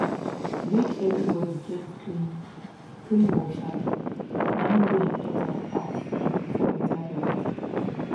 make everybody get clean clean water na im dey important pass for better health